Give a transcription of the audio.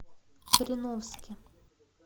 кореновске